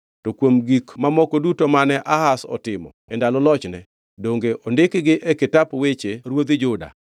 To kuom gik mamoko duto mane Ahaz otimo e ndalo lochne, donge ondikgi e kitap weche ruodhi Juda?